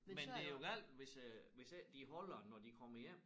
Men det jo galt hvis øh hvis ikke de holder det når de kommer hjem